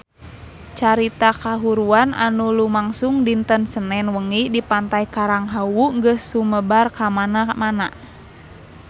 Carita kahuruan anu lumangsung dinten Senen wengi di Pantai Karang Hawu geus sumebar kamana-mana